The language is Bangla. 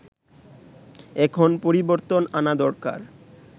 এখন পরিবর্তন আনা দরকার